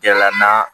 Kɛla naa